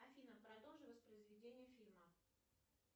афина продолжи воспроизведение фильма